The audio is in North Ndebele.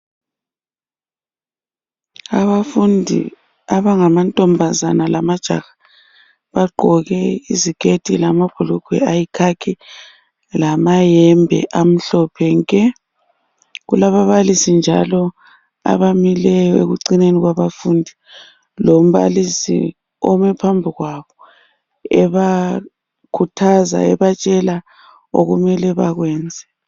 abafundi abangama ntombazana lamajaha bagqoke iziketi lamabhulugwe ayikhakhi lamayembe amhlophe nke kulaba babalisi njalo abamileyo ekucineni kulombalisi ome phambi kwabo ebakhuthaza ebatshela abamele bakwenze